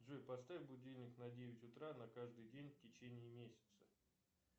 джой поставь будильник на девять утра на каждый день в течение месяца